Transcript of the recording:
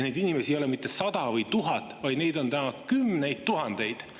Neid inimesi ei ole mitte 100 või 1000, neid on täna kümneid tuhandeid.